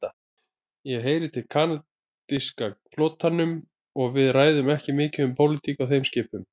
Ég heyri til kanadíska flotanum og við ræðum ekki mikið um pólitík á þeim skipum.